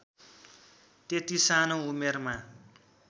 त्यति सानो उमेरमा